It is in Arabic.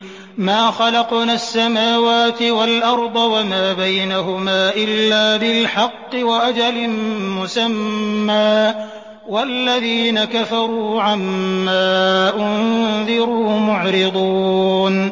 مَا خَلَقْنَا السَّمَاوَاتِ وَالْأَرْضَ وَمَا بَيْنَهُمَا إِلَّا بِالْحَقِّ وَأَجَلٍ مُّسَمًّى ۚ وَالَّذِينَ كَفَرُوا عَمَّا أُنذِرُوا مُعْرِضُونَ